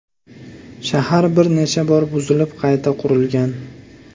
Shahar bir necha bor buzilib qayta qurilgan.